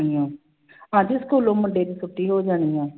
ਕਹਿੰਦੀ ਸਕੂਲੋਂ ਮੁੰਡੇ ਨੂੰ ਛੁੱਟੀ ਹੋ ਜਾਣੀ ਆਂ।